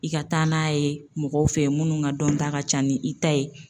I ka taa n'a ye mɔgɔw fɛ minnu ka dɔn ta ka ca ni i ta ye.